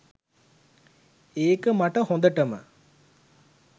ඒක මට හොඳටම.